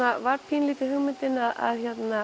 var pínulítið hugmyndin að